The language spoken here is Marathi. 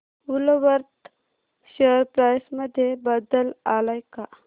वूलवर्थ शेअर प्राइस मध्ये बदल आलाय का